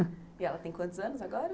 E ela tem quantos anos agora?